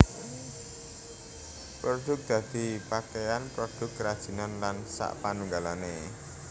Produk dadi pakaian / produk kerajinan lan sakpanunggalé